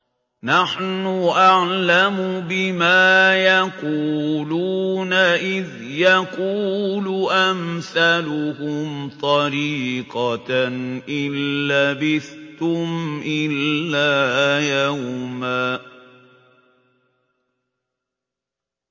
نَّحْنُ أَعْلَمُ بِمَا يَقُولُونَ إِذْ يَقُولُ أَمْثَلُهُمْ طَرِيقَةً إِن لَّبِثْتُمْ إِلَّا يَوْمًا